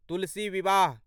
तुलसी विवाह